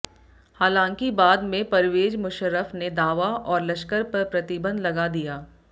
हालांकि बाद में परवेज मुशर्रफ ने दावा और लश्कर पर प्रतिबंध लगा दिया